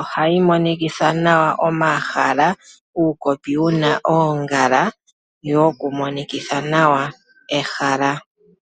Ohayi monikitha nawa omahala, uukopi wu na oongala wokumonikitha nawa ehala.